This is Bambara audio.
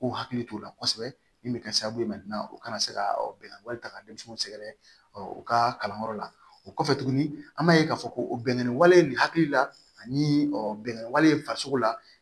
K'u hakili t'o la kosɛbɛ min bɛ kɛ sababu ye u kana se ka bɛn wali ta ka denmisɛnninw sɛgɛrɛ ɔ u ka kalanyɔrɔ la o kɔfɛ tuguni an b'a ye k'a fɔ ko o bɛnkanni wale nin hakili la ani bɛnkanw farisogo la